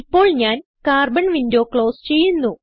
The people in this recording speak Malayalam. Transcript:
ഇപ്പോൾ ഞാൻ കാർബൺ വിൻഡോ ക്ലോസ് ചെയ്യുന്നു